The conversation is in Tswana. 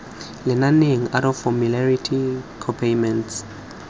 lenaneng out of formulary copayments